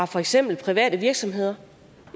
for eksempel private virksomheder